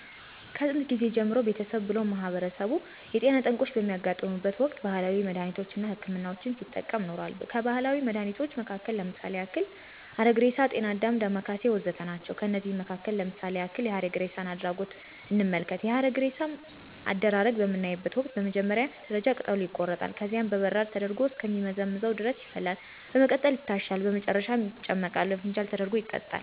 ከጥየንት ጊዜ ጀምሮ ቤተሰብ ብሎም ማህበረሰቡ የጤና ጠንቆች በሚያጋጥሙበት ወቅት ባህላዊ መድሃኒቶች አና ሕክምናዎችን ሲጠቀም ኖሯል። ከባህላዊ መድሃኒቶች መሀከል ለምሳሌ ያክል ሀረግሬሳ፣ ጤናአዳም፣ ዳማከሴ ወዘተ ናቸው። ከነዚህም መሀከል ለምሳሌ ያክል የሀረግሬሳን አድሪጎት እንመልከት፦ የሀረግሬሳ አደራረግ በምናይበተ ወቅት በመጀመሪያ ደረጃ ቅጠሉ ይቆረጣል፣ ከዚያም በበራድ ተደርጎ እስከ ሚመዘምዘው ድረስ ይፈላል፣ በመቀጠልም ይታሻል፣ በመጨረሻም ይጨመቅና በፋንጃል ተደርጎ ይጠጣል።